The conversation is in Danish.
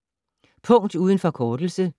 Punkt uden forkortelse